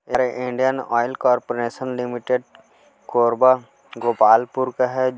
ये Indian oil corporation limited Korba Gopalpur का है--